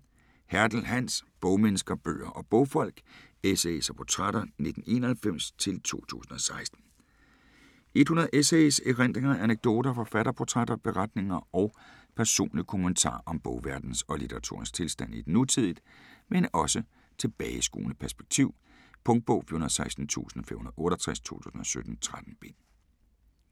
Hertel, Hans: Bogmennesker: bøger og bogfolk: essays og portrætter 1991-2016 100 essays, erindringer, anekdoter, forfatterportrætter, beretninger og personlige kommentarer om bogverdenens og litteraturens tilstand i et nutidigt, men også tilbageskuende perspektiv. Punktbog 416568 2017. 13 bind.